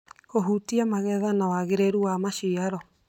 kũhutia magetha na wagĩrĩru wa maciaro.